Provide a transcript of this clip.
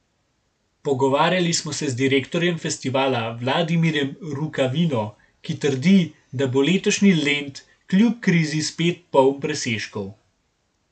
Pogovarjali smo se z direktorjem festivala Vladimirjem Rukavino, ki trdi, da bo letošnji Lent kljub krizi spet poln presežkov.